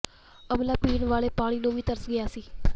ਅਮਲਾ ਪੀਣ ਵਾਲੇ ਪਾਣੀ ਨੂੰ ਵੀ ਤਰਸ ਗਿਆ ਸੀ